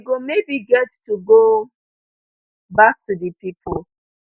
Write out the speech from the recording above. we go maybe get to go back to di people